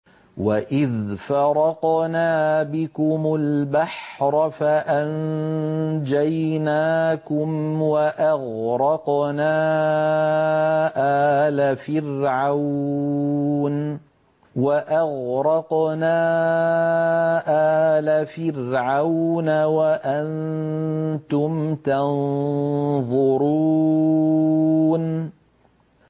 وَإِذْ فَرَقْنَا بِكُمُ الْبَحْرَ فَأَنجَيْنَاكُمْ وَأَغْرَقْنَا آلَ فِرْعَوْنَ وَأَنتُمْ تَنظُرُونَ